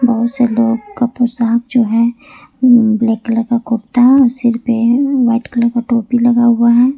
बहु से लोग का पोशाक जो है ब्लैक कलर का कुर्ता और सीर पे वाइट कलर का टोपी लगा हुआ है।